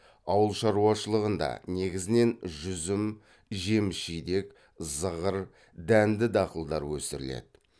ауыл шаруашылығында негізінен жүзім жеміс жидек зығыр дәнді дақылдар өсіріледі